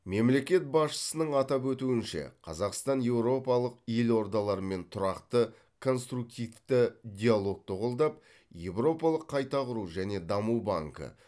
мемлекет басшысының атап өтуінше қазақстан еуропалық елордалармен тұрақты конструктивті диалогты қолдап еуропалық қайта құру және даму банкі